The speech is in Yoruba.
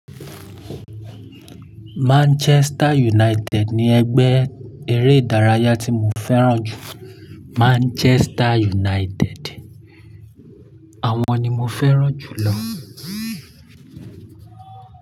Manchester United ni ẹgbẹ́ eré ìdárayá tí mo fẹ́ràn jù. Manchester United àwọn ni mo fẹ́ràn jù lọ.